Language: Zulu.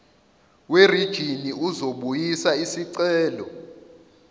werijini uzobuyisa isicelo